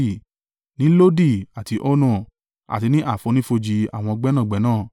ní Lodi àti Ono, àti ní àfonífojì àwọn gbẹ́nàgbẹ́nà.